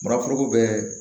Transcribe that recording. Mara foroko bɛɛ